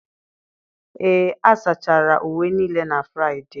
Ee, a sachara uwe niile na Fraịde.